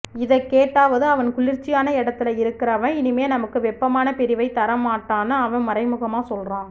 இதக் கேட்டாவது அவன் குளிர்ச்சியான எடத்துல இருக்கறவன் இனிமே நமக்கு வெப்பமான பிரிவைத் தரமாட்டான்னு அவ மறைமுகமா சொல்றா